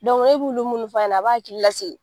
e b'olu munnu f'a ɲɛna a b'a hakili lasigi.